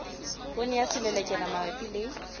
poone ya selelekela mabapi le